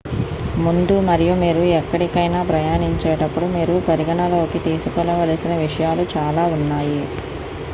ముందు మరియు మీరు ఎక్కడికైనా ప్రయాణించేటప్పుడు మీరు పరిగణనలోకి తీసుకోవలసిన విషయాలు చాలా ఉన్నాయి